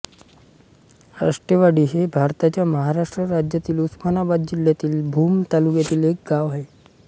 आष्टेवाडी हे भारताच्या महाराष्ट्र राज्यातील उस्मानाबाद जिल्ह्यातील भूम तालुक्यातील एक गाव आहे